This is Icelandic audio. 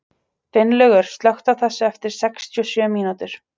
Finnlaugur, slökktu á þessu eftir sextíu og sjö mínútur.